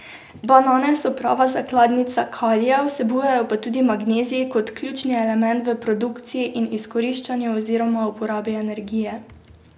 Banane so prava zakladnica kalija, vsebujejo pa tudi magnezij kot ključni element v produkciji in izkoriščanju oziroma uporabi energije.